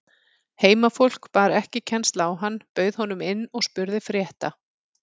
Heimafólk bar ekki kennsl á hann, bauð honum inn og spurði frétta.